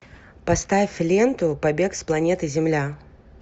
поставь ленту побег с планеты земля